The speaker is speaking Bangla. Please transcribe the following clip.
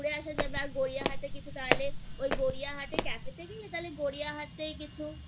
ঘুরে আসা যাবে আর গড়িয়াহাট এ কিছু তাহলে ওই গড়িয়াহাট এ cafe তে গিয়ে তাহলে গড়িয়াহাট এ কিছু আ